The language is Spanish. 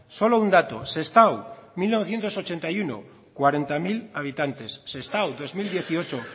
solo un dato sestao mil novecientos ochenta y uno cuarenta mil habitantes sestao dos mil dieciocho